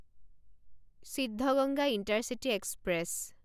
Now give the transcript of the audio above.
Siddaganga intercity express